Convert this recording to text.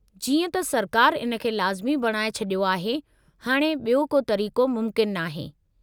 जीअं त सरकार इन खे लाज़िमी बणाए छडि॒यो आहे, हाणे ॿियो को तरीक़ो मुमकिन नाहे।